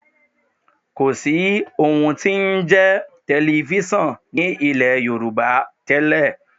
Kò sí ohun tí ó ń jẹ́ tẹlifísàn ní ilẹ̀ Yorùbá tẹ́lẹ̀